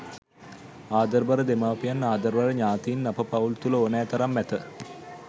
ආදරබර දෙමාපියන් ආදරබර ඥාතීන් අප පවුල් තුළ ඕනෑ තරම් ඇත.